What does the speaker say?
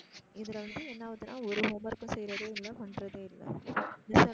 இதுல வந்து என்ன ஆகுதுனா ஒரு homework கும் செய்றதே இல்ல பண்றதே இல்ல.